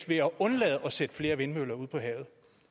ved at undlade at sætte flere vindmøller op ude på havet